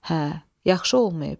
Hə, yaxşı olmayıb.